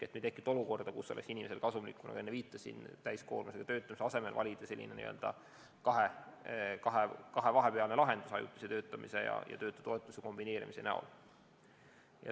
Ei tekitata olukorda, kus inimesel oleks kasulikum, nagu ma enne viitasin, täiskoormusega töötamise asemel valida selline vahepealne lahendus ajutise töötamise ja töötutoetuse kombineerimise näol.